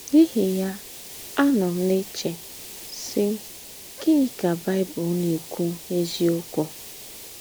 N’íhí ya, ànọ́ m ná-èchè, sí, ‘Gị̀nị́ ka Baị́bụ̀l ná-èkwù n’ézíọ́kù?’